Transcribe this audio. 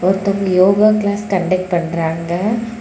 ஒருதங்க yoga class conduct பண்றாங்க.